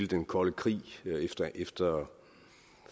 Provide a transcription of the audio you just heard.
den kolde krig efter